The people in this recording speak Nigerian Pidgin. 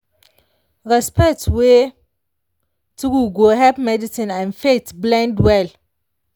respect wey true go help medicine and faith blend well.